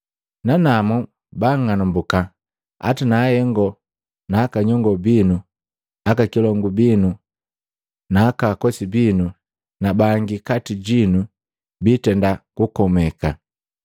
Nanamu banng'anambuka hata na ahengo na aka nyongo binu, aka kilongu binu, naakosi binu na bangi kati jinu biitenda kukomeka.